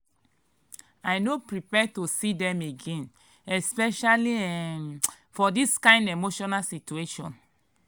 i no prepare to see dem again especially um for this kain emotional situation.